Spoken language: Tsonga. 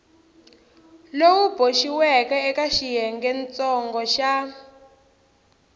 lowu boxiweke eka xiyengentsongo xa